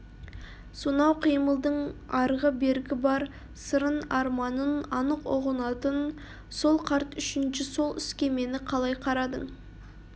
сонау қимылдың арғы-бергі бар сырын арманын анық ұғынатын сол қарт үшінші сол іске мені қалай қарадың